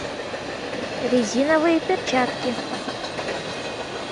резиновые перчатки